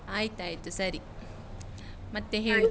ಆಯ್ತಾಯ್ತು ಸರಿ, ಮತ್ತೆ ಹೇಳು.